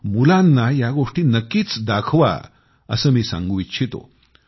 आपणही यात सहभागी व्हावे आणि विशेष करून मुलांना या गोष्टी नक्कीच दाखवा असे मी सांगू इच्छितो